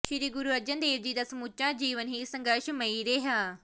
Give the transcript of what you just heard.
ਸ਼੍ਰੀ ਗੁਰੂ ਅਰਜਨ ਦੇਵ ਜੀ ਦਾ ਸਮੁੱਚਾ ਜੀਵਨ ਹੀ ਸੰਘਰਸ਼ਮਈ ਰਿਹਾ